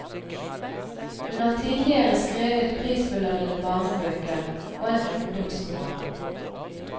Hun har tidligere skrevet prisbelønnede barnebøker og en ungdomsroman.